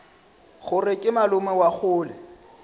gore ke malome wa kgole